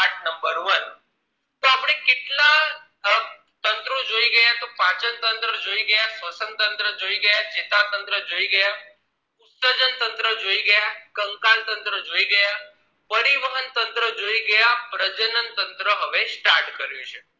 પાચન તંત્ર જોઈ ગયા શ્વસન તંત્ર જોઈ ગયા ચેતા તંત્ર જોઈ ગયા ઉત્સર્જન તંત્ર જોઈ ગયા કંકાલ તંત્ર જોઈ ગયા પરિવહન તંત્ર જોઈ ગયા પ્રજનન તંત્ર હવે start કર્યું છે